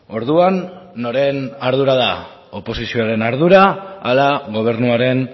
orduan noren ardura da oposizioaren ardura ala gobernuaren